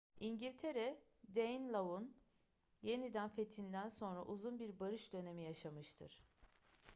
i̇ngiltere danelaw'un yeniden fethinden sonra uzun bir barış dönemi yaşamıştır